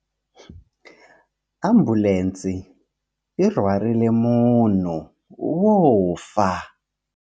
Ambulense yi rhwarile munhu wo fa.